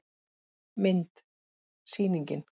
Mynd: Sýningin.